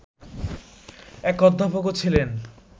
এক অধ্যাপকও ছিলেন